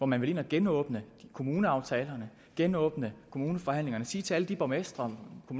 man vil ind og genåbne kommuneaftalerne genåbne kommuneforhandlingerne og sige til alle de borgmestre og